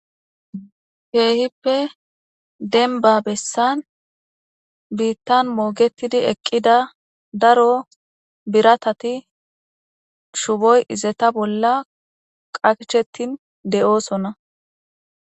Kehippe demba besan bitan mogetidi eqida daro biratati shuboy izetape bola qachetin de'osona